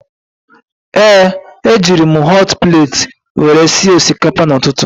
Ee, ejiri m họt pleeti were sie osikapa n'ụtụtụ